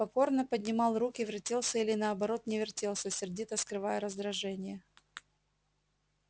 покорно поднимал руки вертелся или наоборот не вертелся сердито скрывая раздражение